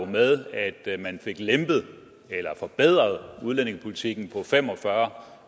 med at man fik lempet eller forbedret udlændingepolitikken på fem og fyrre